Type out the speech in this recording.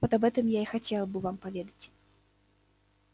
вот об этом я и хотел бы вам поведать